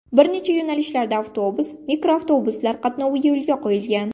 Bir necha yo‘nalishda avtobus, mikroavtobuslar qatnovi yo‘lga qo‘yilgan.